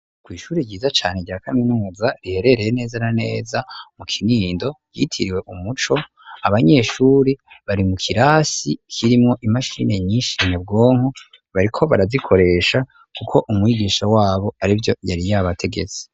Kw'ishure ryiza cane rya kaminuza, riherereye neza na neza mu Kinindo ryitiriwe umuco, abanyeshuri bari mu kirasi kirimwo imashini nyinshi nyabwonko, bariko barazikoresha, kuko umwigisha wabo arivyo yari yabategetse.